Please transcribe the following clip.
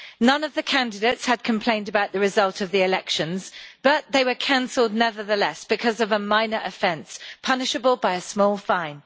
None of the candidates had complained about the results of the elections but they were cancelled nevertheless, because of a minor offence punishable by a small fine.